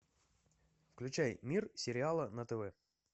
включай мир сериала на тв